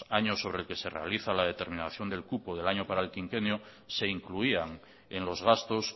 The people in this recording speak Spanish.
año sobre el que se realiza la determinación del cupo del año para el quinquenio se incluían en los gastos